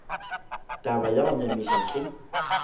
taba ya go nyamiša ke